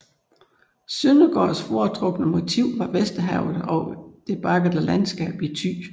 Søndergaards foretrukne motiv var Vesterhavet og det bakkede landskab i Thy